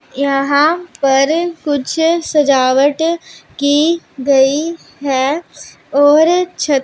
यहां पर कुछ सजावट की गई है और छ--